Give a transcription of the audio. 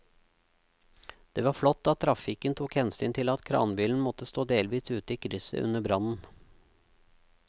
Det var flott at trafikken tok hensyn til at kranbilen måtte stå delvis ute i krysset under brannen.